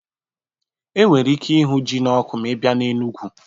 E nwere ike ịhụ ji n'ọkụ ma ị bịa na Enugwu